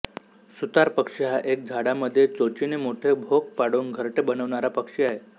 सुतार पक्षी हा एक झाडामधे चोचीने मोठे भोक पाडून घरटे बनवणारा पक्षी आहे